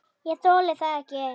ÉG ÞOLI ÞAÐ EKKI!